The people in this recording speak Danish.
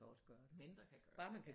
Mindre kan gøre det